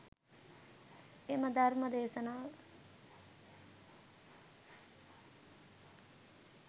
එම ධර්ම දේශනාව